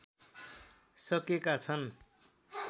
सकेका छन्